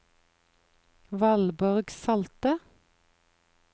Valborg Salte